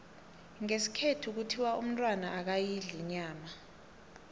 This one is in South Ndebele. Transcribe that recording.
ngesikhethu kuthiwa umntwana akayidli inyama